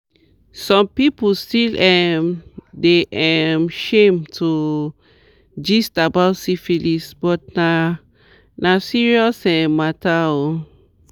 some people still um dey um shame to gist about syphilis but na na serious um matter oo